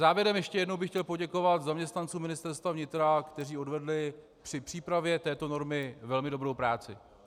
Závěrem ještě jednou bych chtěl poděkovat zaměstnancům Ministerstva vnitra, kteří odvedli při přípravě této normy velmi dobrou práci.